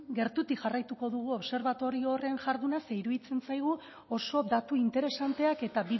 gertutik jarraituko dugu obserbatorio horren jarduna zeren eta iruditzen zaigu oso datu interesanteak eta